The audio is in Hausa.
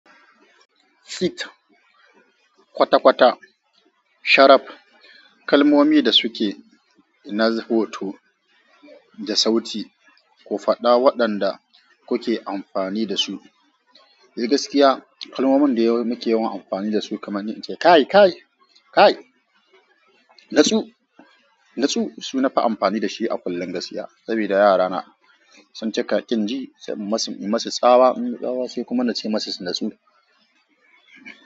Fit, kwata kwata, sharap. Kalmomi da suke inna hoto da sauti. Ku faɗa waɗanda kuke amfani da su. Eh gaskiya kalmomin da muke yawan amfani dasu kamar in ce kai, kai, kai. Natsu, natsu su nafi amfani da shi a kullon gaskiya. Sabida yarana sun cika kin ji sai in masu yi musu tsawa, sai kuma na ce masu natsu.